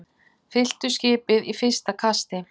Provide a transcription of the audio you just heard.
Fylltu skipið í fyrsta kasti